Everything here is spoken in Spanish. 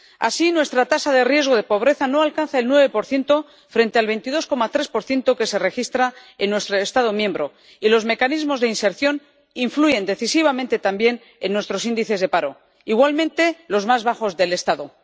Así, nuestra tasa de riesgo de pobreza no alcanza el 9 frente al 22,3 que se registra en nuestro Estado miembro, y los mecanismos de inserción influyen decisivamente también en nuestros índices de paro, igualmente los más bajos del Estado.